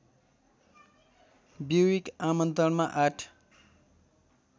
Buick आमन्त्रणमा आठ